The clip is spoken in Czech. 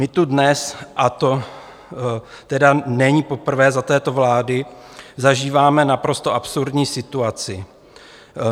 My tu dnes, a to tedy není poprvé za této vlády, zažíváme naprosto absurdní situaci.